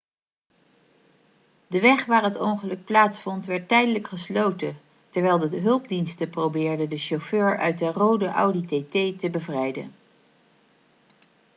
de weg waar het ongeluk plaatsvond werd tijdelijk gesloten terwijl de hulpdiensten probeerden de chauffeur uit de rode audi tt te bevrijden